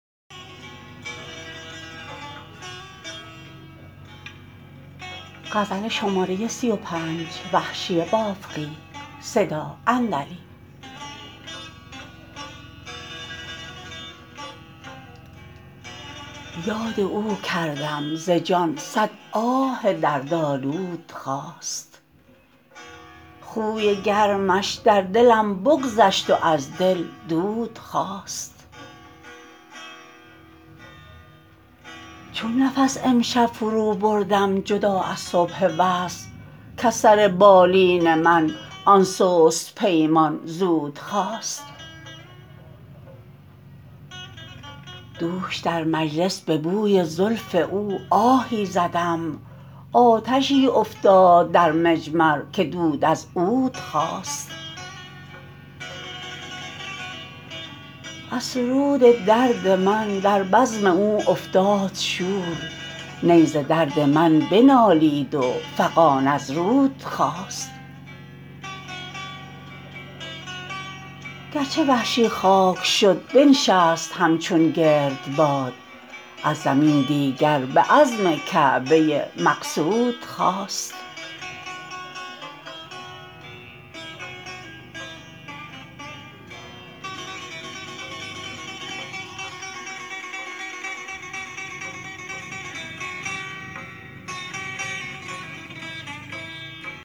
یاد او کردم ز جان صد آه درد آلود خاست خوی گرمش در دلم بگذشت و از دل دود خاست چون نفس امشب فرو بردم جدا از صبح وصل کز سر بالین من آن سست پیمان زود خاست دوش در مجلس به بوی زلف او آهی زدم آتشی افتاد در مجمر که دود از عود خاست از سرود درد من در بزم او افتاد شور نی ز درد من بنالید و فغان از رود خاست گرچه وحشی خاک شد بنشست همچون گردباد از زمین دیگر به عزم کعبه مقصود خاست